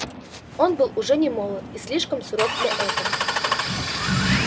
он был уже немолод и слишком суров для этого